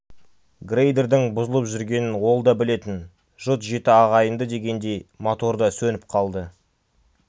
грейдердің бұзылып жүргенін ол да білетін жұт жеті ағайынды дегендей мотор да сөніп қалды